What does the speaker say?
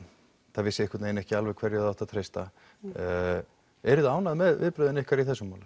það vissi einhvern veginn ekki alveg hverju það átti að treysta ánægð með viðbrögðin ykkar í þessu máli